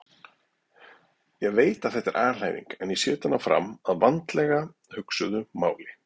Ég veit að þetta er alhæfing en ég set hana fram að vandlega hugsuðu máli.